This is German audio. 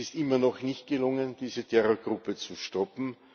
Es ist immer noch nicht gelungen, diese Terrorgruppe zu stoppen.